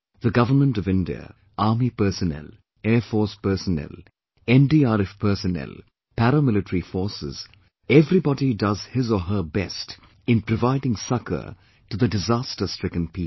The Government of India, Army personnel, Air Force personnel, NDRF personnel, Paramilitary forces everybody does his or her best in providing succour to the disaster stricken people